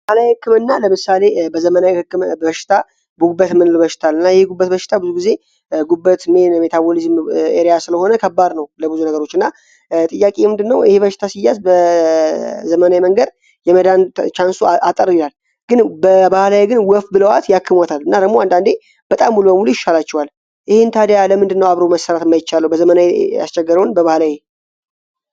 ባህላዊ ሕክም እና ለምሳሌ በዘመናይ ህክምና በሽታ ቡግበት ምንል በሽታል እና ይህ ጉበት በሽታ ብዙ ጊዜ ጉበት ሜን የሜታቦሊዝም ኤርያ ስለሆነ ከባር ነው ለብዙ ነገሮች እና ጥያቄ የምንድ ነው ይህ በሽታ ሲያዝ በዘመናይ መንገር የመዳን ቻንሱ አጠር ይላል ግን በባህላይ ግን ወፍት ብለውዋት ያክሞታል እና ረሙ አንዳንዴ በጣም ቡልበሙሉ ይሻላቸዋል ይህን ታዲያ ለምንድ እነው አብሮ መሠራት ማይቻለው በዘመናይ ያስቸገረውን በባህላይ